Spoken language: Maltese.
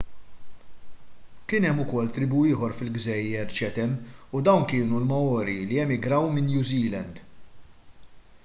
kien hemm ukoll tribù ieħor fil-gżejjer chatham u dawn kienu l-maori li emigraw minn new zealand